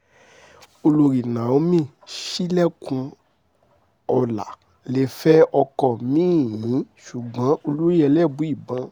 olórí náómì ṣílẹ̀kùnọ́lá lè fẹ́ ọkọ mi-ín ṣùgbọ́n olóyè elébùíbọn